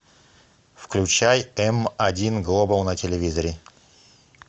включай эм один глобал на телевизоре